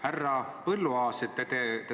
Härra Põlluaas!